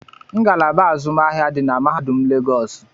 Ngalaba azụmahịa di na mahadum legosi